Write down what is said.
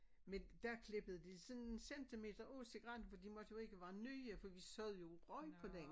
Men der klippede de sådan en centimeter af cigaretten for de måtte jo ikke være nye for vi sad jo og røg på den